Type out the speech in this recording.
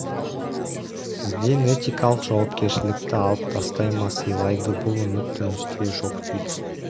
сізден этикалық жауапкершілікті алып тастай ма сыйлайды бұл үміт тунисте жоқ дейді